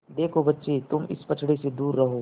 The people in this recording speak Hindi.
देखो बच्चे तुम इस पचड़े से दूर रहो